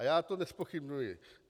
A já to nezpochybňuji.